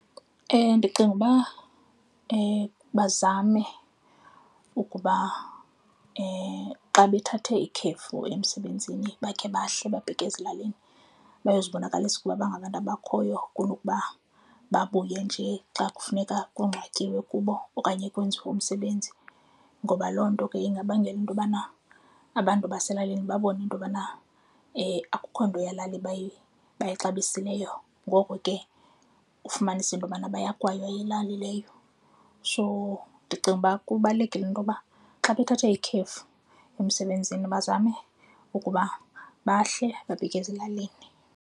Ndicinga uba bazame ukuba xa bethathe ikhefu emsebenzini bakhe bahle babheke ezilalini bayozibonakalisa ukuba bangabantu abakhoyo kunokuba babuye njee xa kufuneka kungcwatyiwe kubo okanye kwenziwe umsebenzi. Ngoba loo nto ke ingabangela into yobana abantu baselalini babone into yobana akukho nto yelali bayaxabisileyo. Ngoko ke ufumanise into yobana bayakwaywa yilali leyo. So, ndicinga uba kubalulekile into yoba xa bethathe ikhefu emsebenzini bazame ukuba bahle babheke ezilalini.